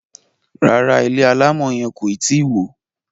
ràrá ilé alamò yen koi tí wọ.